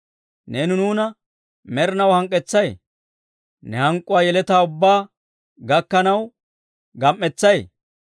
Neeni nuuna med'inaw hank'k'ettay? Ne hank'k'uwaa yeletaa ubbaa gakkanaw gam"isay?